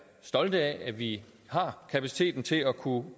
stolte af altså at vi har kapaciteten til at kunne